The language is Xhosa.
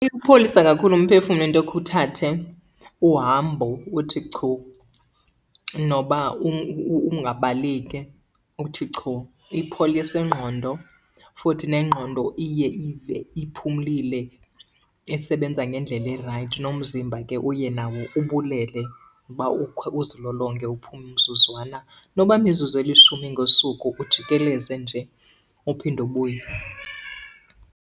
Iwupholisa kakhulu umphefumlo into yokhe uthathe uhambo uthi chu noba ungabaleki, uthi chu. Ipholisa ingqondo futhi nengqondo iye ive iphumlile isebenza ngendlela erayithi. Nomzimba ke uye nawo ubulele uba ukhe uzilolonge uphume umzuzwana, noba yimizuzu elishumi ngosuku ujikeleze nje uphinde ubuye.